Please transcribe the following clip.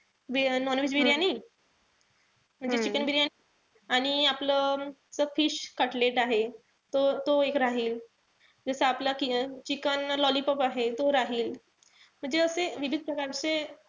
Non-veg biryani. म्हणजे chicken biryani. आणि आपलं fish cutlet आहे. तो तो एक राहील. जस आपलं क chicken lollipop आहे तो राहील. म्हणजे असे विविध प्रकारचे,